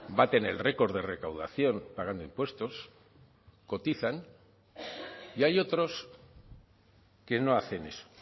baten el récord de recaudación pagando impuestos cotizan y hay otros que no hacen eso